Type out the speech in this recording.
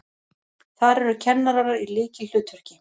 Þar eru kennarar í lykilhlutverki.